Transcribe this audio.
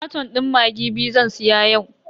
Katon din maggi biyu zan siya yau.